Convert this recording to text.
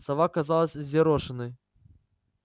сова казалась взъерошенной